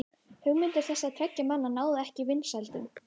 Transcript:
hugmyndir þessara tveggja manna náðu ekki vinsældum